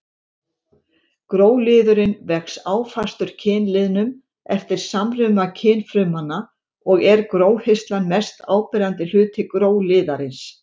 Gróliðurinn vex áfastur kynliðnum eftir samruna kynfrumanna og er gróhirslan mest áberandi hluti gróliðarins.